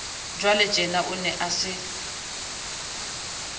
jwaletjena o ne a se